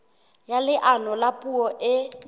ya leano la puo e